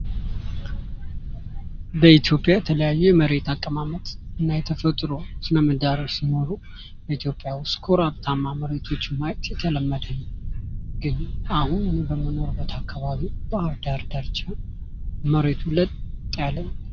በኢትዮጵያ የተለያየ የመሬት አቀማመጥ እና የተፈጥሮ ስነምህዳር ሲኖሩ ኢትዮጵያ ውስጥ ኮረብታማ መሬቶችን ማየት የተለመደ ነው። ግን አሁን በምንኖርበት አካባቢ ባህርዳር ዳርቻ መሬቱ ለጥ ያለ